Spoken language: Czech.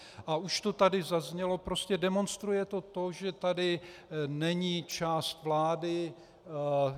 A už to tady zaznělo, prostě demonstruje to to, že tady není část vlády.